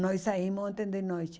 Nós saímos ontem de noite.